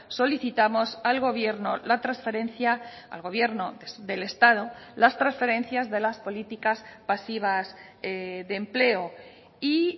solicitamos al gobierno la transferencia al gobierno del estado las transferencias de las políticas pasivas de empleo y